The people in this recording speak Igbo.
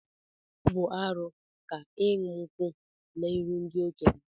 Ọ bu arụ ka iṅu nkwu n'iru ndi-okenye.